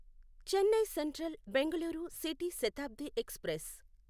Chennai central Bengaluru city Shatabdi express